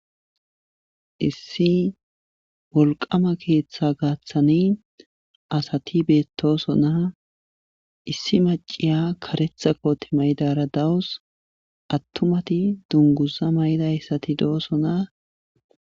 issi wolqama keeththa gaaththani asati beettoso na issi maciya karetha koote maydara dawus attumati dunguza may7dayssati do7oso na